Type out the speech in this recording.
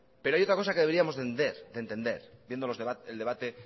pero hay otra cosa que deberíamos de entender viendo el debate